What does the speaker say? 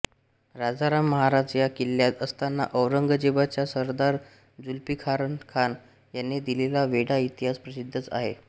राजाराम महाराज या किल्ल्यात असताना औरंगजेबाचा सरदार झुल्फिकारखान याने दिलेला वेढा इतिहास प्रसिद्धच आहे